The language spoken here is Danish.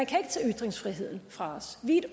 kan tage ytringsfriheden fra os vi